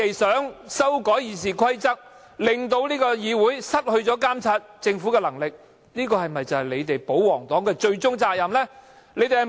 修改《議事規則》令議會失去監察政府的能力，難道就是保皇黨的終極責任？